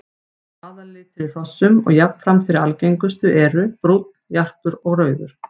Aðallitir í hrossum og jafnframt þeir algengustu eru brúnn, jarpur og rauður.